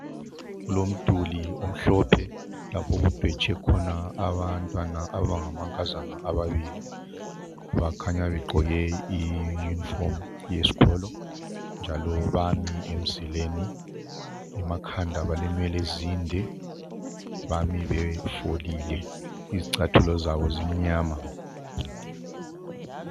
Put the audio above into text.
Kulomduli omhlophe lapho okubheje khona bantwana abangamankazana ababili. Bakhanya begqoke iyunifomu yesikolo njalo bami emzileni, emakhanda balenwele ezinde, bami befolile, izicathulo zabo zimnyama.